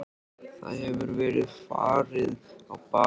Það hefur verið farið á bak við þig.